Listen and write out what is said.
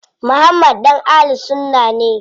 Muhammad ɗan Ahlul sunna ne.